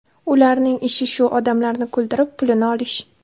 Ularning ishi shu odamlarni kuldirib, pulini olish.